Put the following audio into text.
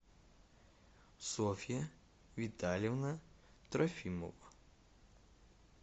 софья витальевна трофимова